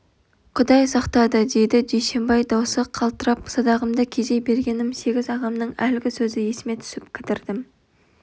құдай сақтады дейді дүйсенбай даусы қалтырап садағымды кезей бергенім сегіз ағамның әлгі сөзі есіме түсіп кідіріп